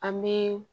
An bɛ